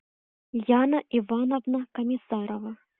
яна ивановна комиссарова